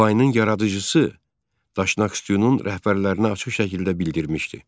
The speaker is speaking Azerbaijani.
Difainin yaradıcısı Daşnaqstyunun rəhbərlərinə açıq şəkildə bildirmişdi.